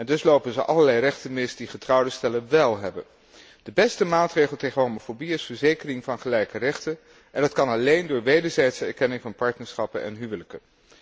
Dus lopen ze allerlei rechten mis die getrouwde stellen wel hebben. De beste maatregel tegen homofobie is verzekering van gelijke rechten en dat kan alleen door wederzijdse erkenning van partnerschappen en huwelijken.